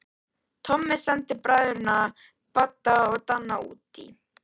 Tommi sendi bræðurna Badda og Danna útí